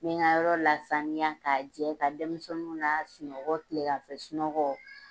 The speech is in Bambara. N mi n ka yɔrɔ lasaniya k'a jɛ ka denmisɛnu lasunɔgɔ kile ganfɛ sunɔgɔ